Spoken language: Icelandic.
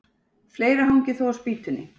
Fleira hangir þó á spýtunni.